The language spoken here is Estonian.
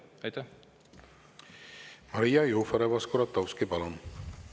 Maria Jufereva-Skuratovski, palun!